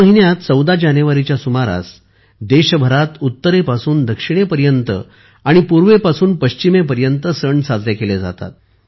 या महिन्यात 14 जानेवारीच्या सुमारालादेशभरात उत्तरेपासून दक्षिणेपर्यंत आणि पूर्वेपासून पश्चिमेपर्यंत सण साजरे केले जातात